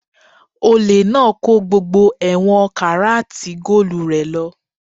Olè náà kó gbogbo ẹ̀wọ̀n karat goolu rẹ̀ lọ